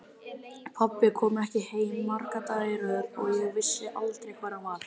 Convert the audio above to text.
Pabbi kom ekki heim marga daga í röð og ég vissi aldrei hvar hann var.